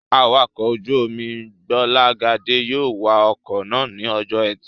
Awakọ̀ ojú-omi Gbọ́lágadé yóò wa ọkọ̀ náà ní ọjọ́ ẹtì